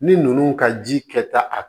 Ni ninnu ka ji kɛta